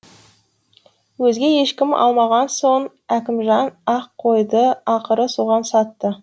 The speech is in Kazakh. өзге ешкім алмаған соң әкімжан ақ қойды ақыры соған сатты